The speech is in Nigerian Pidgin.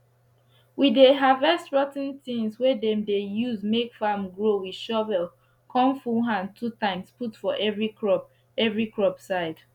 we dey harvest rot ten tins wey dem dey use make farm grow with shovel con full hand 2times put for every crop every crop side